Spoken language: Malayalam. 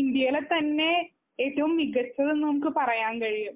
ഇന്ത്യയിലെ തന്നെ ഏറ്റവും മികച്ചത് എന്നു നമുക്ക് പറയാൻ കഴിയും.